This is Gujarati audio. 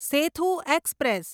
સેથુ એક્સપ્રેસ